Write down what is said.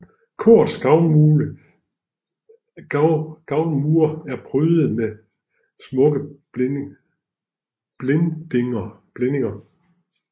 Korets gavlmure er prydede med smukke blindinger